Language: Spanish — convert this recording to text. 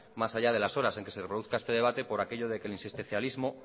más allá de las horas en que se reproduzca este debate por aquello de que el insistencialismo